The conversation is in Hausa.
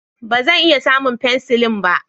Ba zan iya samun penicillin ba